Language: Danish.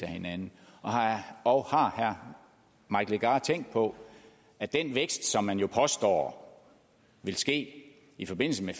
hinanden og har herre mike legarth har tænkt på at den vækst som man påstår vil ske i forbindelse med